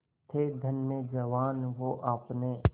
थे धन्य जवान वो आपने